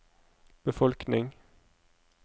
befolkning